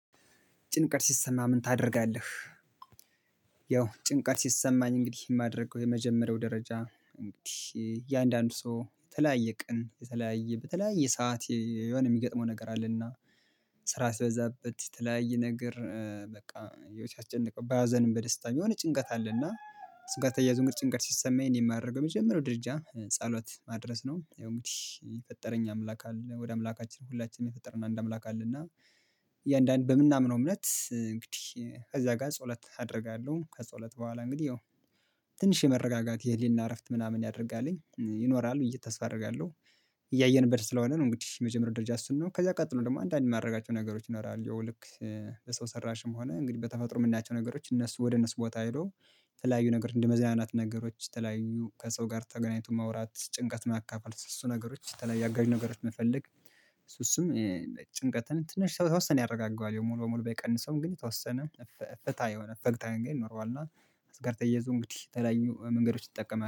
ጭንቀት ሲሰማ ምን ታደርጋለህ? ያው ጭንቀት ሲሰማኝ እንግዲህ የማደርገው የመጀመሪያው ደረጃ እንግዲህ የአንዳንድ ሰው የተለያየ ቀን የተለያየ በተለያየ ሰዓት የሆነ የሚገጥመው ነገር አለና ስራ ሲበዛበት የተለያየ ነገር በቃ የሚያስጨንቀው በሀዘንም በደስታም የሆነ ጭንቀት አለና። ጭንቀት ተያይዞ እንግዲህ ጭንቀት ሲሰማ የሚያደርገው የመጀመሪያው ደርጃ ጸሎት ማድረስ ነው። ያው እንግዲህ የፈጠረኝ አምላክ አለ ወደ አምላካችን ሁላችንም የፈጠረን አንድ አምላክ አለ። እና እያንዳንዱ በምናምነው እምነት እንግዲህ ከዛ ጋር ጸሎት አደርጋለሁ ከጸሎት በኋላ እንግዲህ ያው ትንሽ የመረጋጋት የህሊና እረፍት ምናምን ያደርጋልኝ ይኖራል ብዬ ተስፋ አደርጋለሁ። እያየንበት ስለሆነ ነው እንግዲህ የመጀመሪያው ደረጃ እሱን ነው። ከዛ ቀጥሎ ደግሞ አንዳንድ የማደርጋቸው ነገሮች ይኖራሉ። ያው ልክ ለሰው ሰራሽም ሆነ እንግዲህ በተፈጥሮ የምናያቸው ነገሮች እነሱ ወደ እነሱ ቦታ ሄዶ የተለያዩ ነገር እንደ መዝናናት ነገሮች የተለያዩ ከሰው ጋር ተገናኝቶ ማውራት ጭንቀት ማካፈል እሱ ነገሮች ተለያይ አጋዥ ነገሮች መፈለግ። እሱም ጭንቀትን ትንሽ የተወሰነ ያረጋገዋል ያው ሙሉ በሙሉ ባይቀንሰውም ግን የተወሰነ እፍታ የሆነ እፍታ ነው የሚኖረው። እና እሱ ጋር ተየይዞ እንግዲህ ተለያዩ መንገዶች እጠቀማል